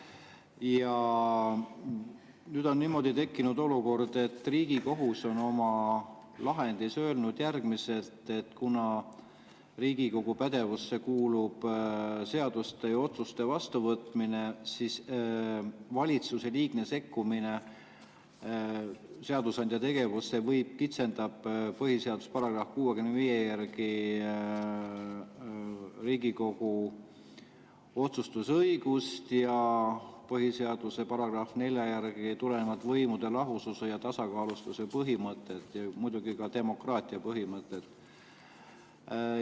Ja nüüd on tekkinud olukord, et Riigikohus on oma lahendis öelnud järgmist: kuna Riigikogu pädevusse kuulub seaduste ja otsuste vastuvõtmine, siis valitsuse liigne sekkumine seadusandja tegevusse kitsendab põhiseaduse § 65 järgi Riigikogu otsustusõigust ja põhiseaduse §-st 4 tulenevat võimude lahususe ja tasakaalustatuse põhimõtet ja muidugi ka demokraatia põhimõtet.